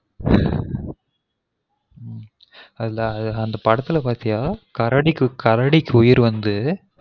அதான் அந்த படத்துல பார்த்தீயா கரடி கரடிக்கு உயிர் வந்து